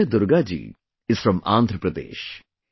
Vijay Durga ji is from Andhra Pradesh